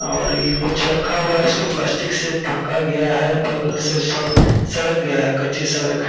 और ये कुछ रखा हुआ है इसको प्लास्टिक से ढका गया है बगल से स सड़क गया है कच्ची सड़क है |